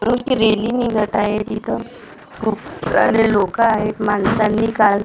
rally निघत आहे तिथं खूप सारे लोकं आहेत माणसांनी काल--